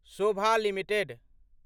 Sobha limited